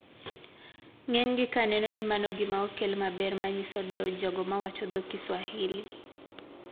Ng`enygi ka neno ni mano gimaokel maber ma nyiso dewo jogo mawacho dho kiswahili.